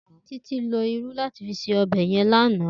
Titi ló Irù làtí fi sé òbè yèn làná